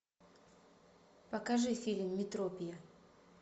покажи фильм метропия